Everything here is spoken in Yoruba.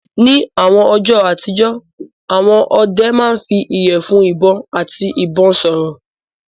Ní àwọn ọjọ́ àtijọ́, àwọn ọdẹ máa ń fi ìyẹ̀fun ìbọn àti ìbọn sọ̀rọ̀.